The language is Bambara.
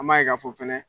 An b'a ye k'a fɔ fɛnɛ